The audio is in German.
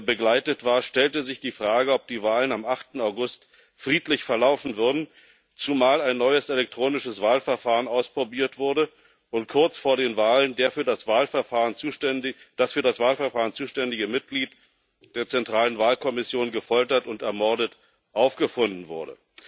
begleitet war, stellte sich die Frage, ob die Wahlen am 8. August friedlich verlaufen würden, zumal ein neues elektronisches Wahlverfahren ausprobiert wurde und kurz vor den Wahlen das für das Wahlverfahren zuständige Mitglied der zentralen Wahlkommission gefoltert und ermordet aufgefunden wurde.